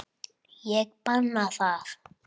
Ég banna það.